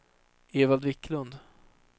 Evald Wiklund